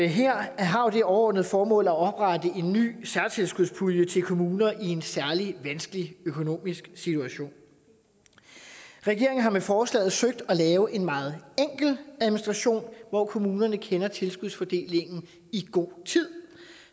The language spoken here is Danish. her har det overordnede formål at oprette en ny særtilskudspulje til kommuner i en særlig vanskelig økonomisk situation regeringen har med forslaget søgt at lave en meget enkel administration hvor kommunerne kender tilskudsfordelingen i god tid